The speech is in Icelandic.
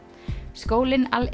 skólinn Al